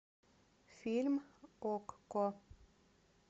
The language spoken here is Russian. фильм окко